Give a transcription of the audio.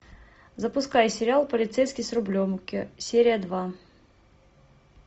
запускай сериал полицейский с рублевки серия два